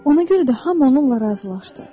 Ona görə də hamı onunla razılaşdı.